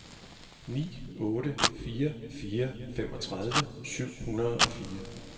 ni otte fire fire femogtredive syv hundrede og fire